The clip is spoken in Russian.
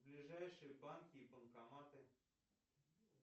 ближайшие банки и банкоматы